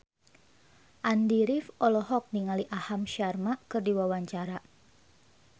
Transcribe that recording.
Andy rif olohok ningali Aham Sharma keur diwawancara